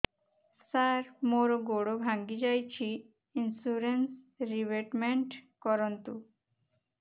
ସାର ମୋର ଗୋଡ ଭାଙ୍ଗି ଯାଇଛି ଇନ୍ସୁରେନ୍ସ ରିବେଟମେଣ୍ଟ କରୁନ୍ତୁ